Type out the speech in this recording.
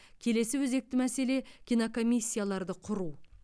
келесі өзекті мәселе кинокомиссияларды құру